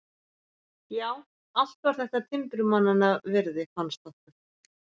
Já, allt var þetta timburmannanna virði, fannst okkur.